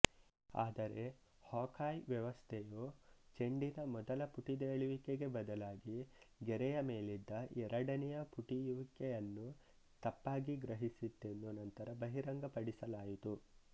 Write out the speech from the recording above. ಆದರೆ ಹಾಕ್ಐ ವ್ಯವಸ್ಥೆಯು ಚೆಂಡಿನ ಮೊದಲ ಪುಟಿದೇಳುವಿಕೆಗೆ ಬದಲಾಗಿ ಗೆರೆಯ ಮೇಲಿದ್ದ ಎರಡನೆಯ ಪುಟಿಯುವಿಕೆಯನ್ನು ತಪ್ಪಾಗಿ ಗ್ರಹಿಸಿತ್ತೆಂದು ನಂತರ ಬಹಿರಂಗಪಡಿಸಲಾಯಿತು